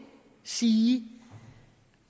sige